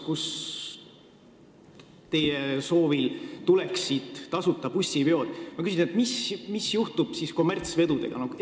Kui teie soovil tuleksid tasuta bussiveod, siis mis juhtub kommertsvedudega?